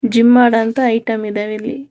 Gym ಮಾಡಂತ item ಇದಾವೆ ಇಲ್ಲಿ.